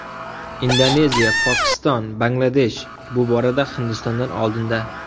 Indoneziya, Pokiston, Bangladesh bu borada Hindistondan oldinda.